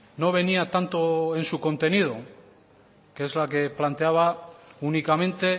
no venía tanto en su contenido que es la que planteaba únicamente